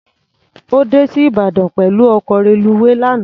Ó dé sí Ìbàdàn pẹ̀lú ọkọ̀ reluwé lánàá.